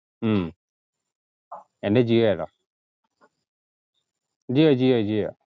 ഹും എൻ്റെ ജിയോയാടാ ജിയോ ജിയോ ജിയോ